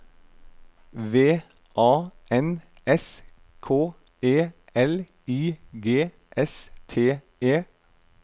V A N S K E L I G S T E